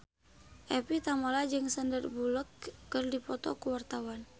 Evie Tamala jeung Sandar Bullock keur dipoto ku wartawan